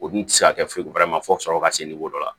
O dun ti se ka kɛ foyi fo ka sɔrɔ ka se dɔ la